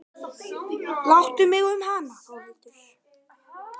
Láttu mig um hana núna Þórhildur.